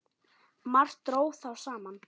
Margt dró þá saman.